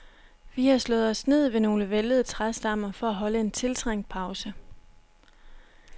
Vi har slået os ned ved nogle væltede træstammer for at holde en tiltrængt pause.